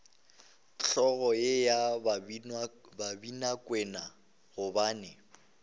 hlogo ye ya babinakwena gobane